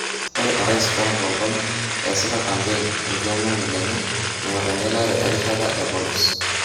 Ore orais Trump o Obama esita kampein ikiomani lenye engor engelare erishata e polos.